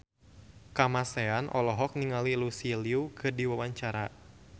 Kamasean olohok ningali Lucy Liu keur diwawancara